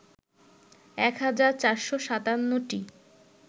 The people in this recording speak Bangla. ১ হাজার ৪৫৭টি